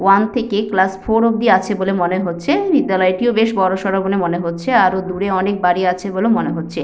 One থেকে class four অবধি আছে বলে মনে হচ্ছে বিদ্যালয়টিও বেশ বড়সর বলে মনে হচ্ছে আরো দূরে অনেক বাড়ি আছে বলে মনে হচ্ছে।